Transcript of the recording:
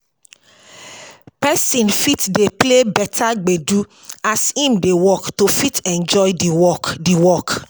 Person fit dey play better gbedu as im dey work to fit enjoy di work di work